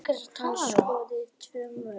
Hann skoraði tvö mörk